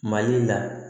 Mali la